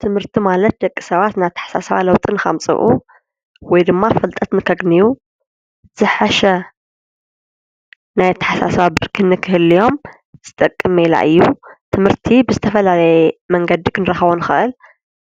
ትምህርቲ ማለት ደቂ ሰባት ናይ ታሕሳስባ ለውጥን ከምፅኡ ወይ ድማ ፍልጠት ከግንዩ ዝሓሸ ናይ ታሓሳስባ ብርኪ ክህልዮም ዝጠቅመና እዩ፡3 ትምህርቲ ብዝተፈላለየ መንገዲ ኽንረኸቦ ንኽአል